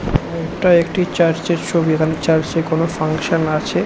এইটা একটি চার্চ -এর ছবি এখানে চার্চ -এ কোন ফাংশন আছে।